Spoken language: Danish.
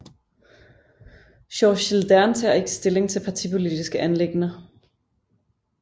Georgs Gilderne tager ikke stilling i partipolitiske anliggender